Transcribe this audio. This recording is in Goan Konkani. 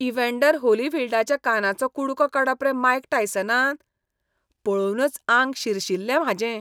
इव्हॅन्डर होलीफील्डाच्या कानाचो कुडको काडप रे मायक टायसनान? पळोवनच आंग शिरशिल्लें म्हाजें.